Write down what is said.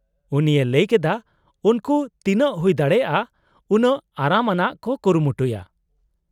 -ᱩᱱᱤᱭ ᱞᱟᱹᱭ ᱠᱮᱫᱟ ᱩᱱᱠᱩ ᱛᱤᱱᱟᱹᱜ ᱦᱩᱭ ᱫᱟᱲᱮᱭᱟᱜᱼᱟ ᱩᱱᱟᱹᱜ ᱟᱨᱟᱢ ᱟᱱᱟᱜ ᱠᱚ ᱠᱩᱨᱩᱢᱩᱴᱩᱭᱟ ᱾